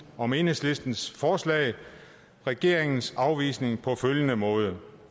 om enhedslistens forslag regeringens afvisning på følgende måde